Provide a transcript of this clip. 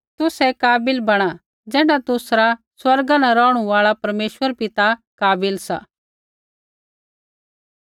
तुसै काबिल बणा ज़ैण्ढा तुसरा स्वर्गा न रौहणु आल़ा परमेश्वर पिता काबिल सा